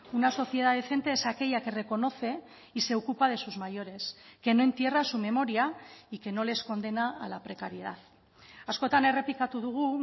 una sociedad decente es aquella que reconoce y se ocupa de sus mayores que no entierra su memoria y que no les condena a la precariedad askotan errepikatu dugu